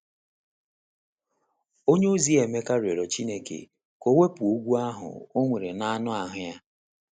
onyeozi Emeka rịọrọ Chineke ka o wepụ ogwu ahụ o nwere n’anụ ahụ́ ya.